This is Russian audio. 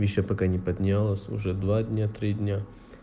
ещё пока не поднялось уже два дня три дня